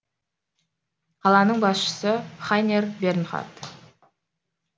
қаланың басшысы хайнер бернхард